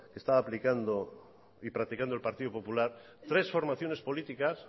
que estaba aplicando y practicando el partido popular tres formaciones políticas